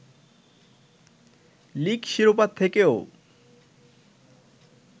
league শিরোপা থেকেও